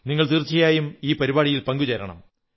നിങ്ങൾ തീർച്ചയായും ഈ പരിപാടിയിൽ പങ്കു ചേരണം